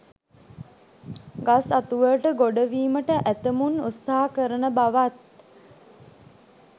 ගස් අතු වලට ගොඩවීමට ඇතැමුන් උත්සාහ කරන බවත්